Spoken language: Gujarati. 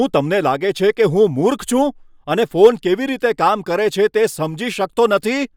શું તમને લાગે છે કે હું મૂર્ખ છું અને ફોન કેવી રીતે કામ કરે છે તે સમજી શકતો નથી?